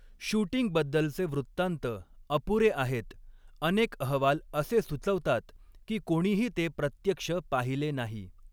शूटिंगबद्दलचे वृत्तान्त अपुरे आहेत, अनेक अहवाल असे सुचवतात की कोणीही ते प्रत्यक्ष पाहिले नाही.